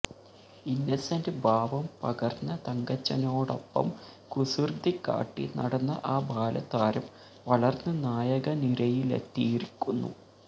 ഇന്നസെന്റ് ഭാവം പകർന്ന തങ്കച്ചനോടൊപ്പം കുസൃതികാട്ടി നടന്ന ആ ബാലതാരം വളർന്ന് നായകനിരയിലെത്തിയിരിക്കുന്നു